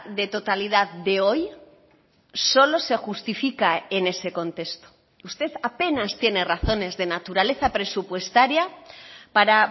de totalidad de hoy solo se justifica en ese contexto usted apenas tiene razones de naturaleza presupuestaria para